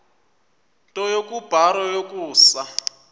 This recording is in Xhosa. nto kubarrow yokusa